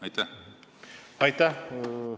Aitäh!